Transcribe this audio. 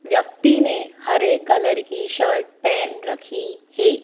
व्यक्ति ने हरे कलर की शर्ट पहन रखी है।